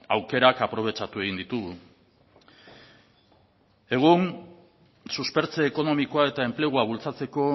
aukerak aprobetxatu egin ditugu egun suspertze ekonomikoa eta enplegua bultzatzeko